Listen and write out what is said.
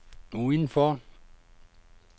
udenfor